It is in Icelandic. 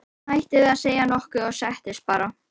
Og hún hætti við að segja nokkuð og settist bara.